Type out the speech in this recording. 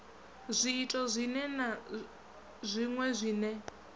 zwiito zwiṅwe na zwiṅwe zwine